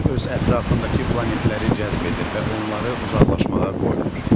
Günəş öz ətrafındakı planetləri cəzb edir və onları uzaqlaşmağa qoymur.